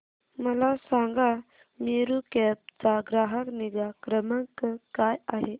मला सांगा मेरू कॅब चा ग्राहक निगा क्रमांक काय आहे